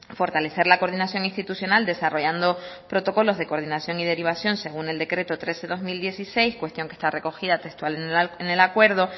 fortalecer la coordinación institucional desarrollando protocolos de coordinación y derivación según el decreto tres barra dos mil dieciséis cuestión que está recogida textual en el acuerdo